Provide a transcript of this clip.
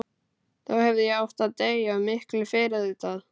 Þá hefði ég átt að deyja, og miklu fyrr auðvitað.